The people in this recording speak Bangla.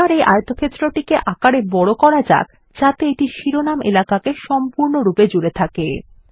এবার এই আয়তক্ষেত্রটিকে আকারে বড় করা যাক যাতে এটি শিরোনাম এলাকাকে সম্পূর্ণরূপে জুড়ে থাকে